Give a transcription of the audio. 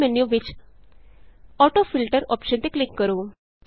ਪਾਪ up menu ਵਿਚ AutoFilterਅੋਪਸ਼ਨ ਤੇ ਕਲਿਕ ਕਰੋ